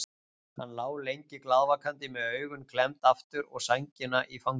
Hann lá lengi glaðvakandi með augun klemmd aftur og sængina í fanginu.